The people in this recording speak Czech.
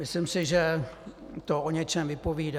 Myslím si, že to o něčem vypovídá.